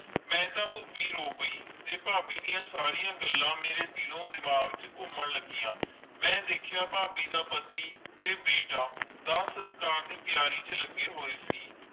ਮਈ ਤਾ ਖ਼ੂਬੀ ਰੋ ਪੈ ਫਾਬੀ ਦੀਆ ਸਾਰੀ ਗੱਲਾਂ ਮੇਰੇ ਦਿਲ ਓ ਡਿਮਾਂਘ ਚ ਕੂਮੈਨ ਲੱਗੀਆਂ ਮਈ ਦੇਖਿਆ ਫਾਬੀ ਦਾ ਪਤੀ ਤੇ ਬੀਟਾ ਦਾਤ ਸਸਕਾਰ ਦੇ ਤਿਆਰੀ ਚ ਲੱਗੀ ਹੋਏ ਸੀ